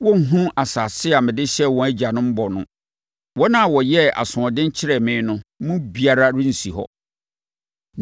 Wɔrenhunu asase a mede hyɛɛ wɔn agyanom bɔ no. Wɔn a wɔyɛɛ asoɔden kyerɛɛ me no mu biara rensi hɔ.